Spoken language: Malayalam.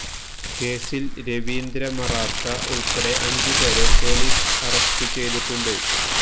കേസിൽ രവീന്ദ്ര മറാത്ത ഉൾപ്പെടെ അഞ്ച് പേരെ പൊലീസ് അറസ്റ്റ് ചെയ്തിട്ടുണ്ട്